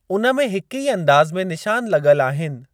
उन में हिक ई अंदाज़ु में निशान लॻल आहिनि।